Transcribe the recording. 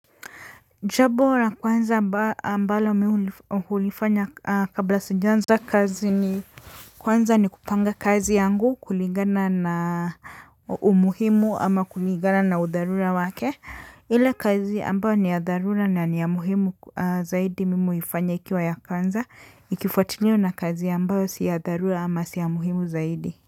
Cha bora kwanza mba ambalo mi hulifanya kabla sijaanza kazi ni kwanza ni kupanga kazi yangu kulingana na umuhimu ama kulingana na udharula wake. Ile kazi ambayo ni ya dharula na ni ya muhimu zaidi mimi uifanya ikiwa ya kwanza ikifuatiliwa na kazi ambayo si ya dharula ama si ya muhimu zaidi.